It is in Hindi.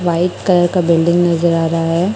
व्हाइट कलर का बिल्डिंग नजर आ रहा है।